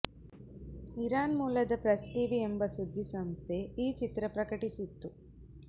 Iran ಮೂಲದ press TV ಎಂಬ ಸುದ್ದಿಸಂಸ್ಥೆ ಈ ಚಿತ್ರ ಪ್ರಕಟಿಸಿತ್ತು